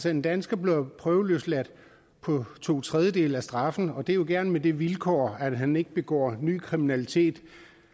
en dansker bliver prøveløsladt på to tredjedele af straffen og det er jo gerne med det vilkår at han ikke begår ny kriminalitet